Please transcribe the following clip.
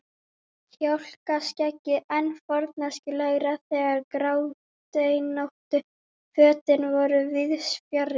Kjálkaskeggið enn forneskjulegra þegar gráteinóttu fötin voru víðs fjarri.